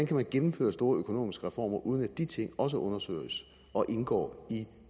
kan man gennemføre store økonomiske reformer uden at de ting også undersøges og indgår i